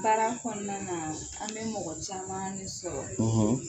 Baara kɔnɔna na an bɛ mɔgɔ caman ne sɔrɔ;